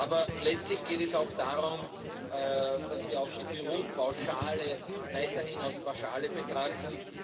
Aber letztlich geht es auch darum, dass wir auch die Büropauschale weiterhin als Pauschale betrachten.